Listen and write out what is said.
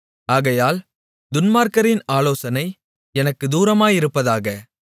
ஆகையால் துன்மார்க்கரின் ஆலோசனை எனக்குத் தூரமாயிருப்பதாக